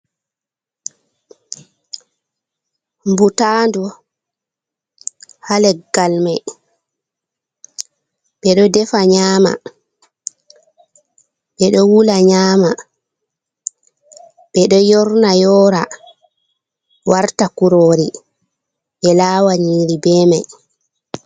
Ɓutanɗu ha legal mai ɓe ɗo ɗefa nyama ɓe ɗo wula nyama ɓe ɗo yorna yora warta kurori ɓe lawa niri be mai.